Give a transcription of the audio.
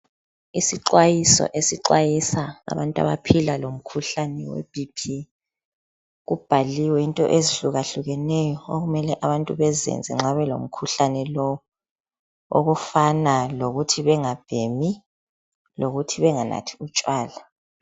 Isixwayiso esixwayisa abantu abaphila lomkhuhlane weBP. Kubhaliwe into ezihlukahlukeneyo okumele abantu bezenze nxa belomkhuhlane lowu okufana lokuthi bengabhemi lokuthi benganathi utshwala.